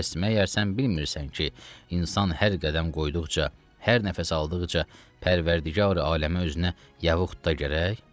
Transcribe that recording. Pəs məgər sən bilmirsən ki, insan hər qədəm qoyduqca, hər nəfəs aldıqca, Pərvərdigari aləmə özünə yavuqda gərək.